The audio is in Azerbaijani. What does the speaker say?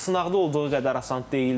Sınaqda olduğu qədər asan deyildi.